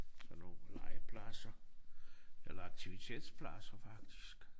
Sådan nogle legepladser eller aktivitetspladser faktisk